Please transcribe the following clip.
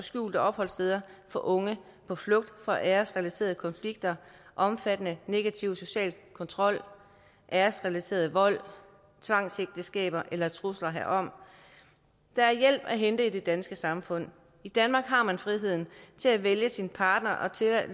skjulte opholdssteder for unge på flugt fra æresrelaterede konflikter omfattende negativ social kontrol æresrelateret vold tvangsægteskaber eller trusler herom der er hjælp at hente i det danske samfund i danmark har man friheden til at vælge sin partner og til at